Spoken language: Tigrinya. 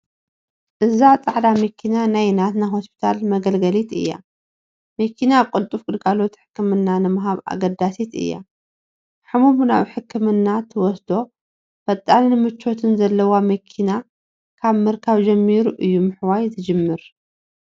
እዛ ፃዕዳ መኪና ናይ ናትና ሆስፒታል መገለገሊት እያ፡፡ መኪና ቅልጡፍ ግልጋሎት ሕክምና ንምሃብ ኣገዳሲት እያ፡፡ ሕሙም ናብ ሕክምና ትወስዶ ፈጣንን ምቾትን ዘለዋ መኪና ካብ ምርካብ ጀሚሩ እዩ ምሕያው ዝጅምር፡፡